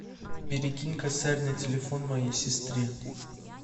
перекинь косарь на телефон моей сестре